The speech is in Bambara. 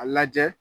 A lajɛ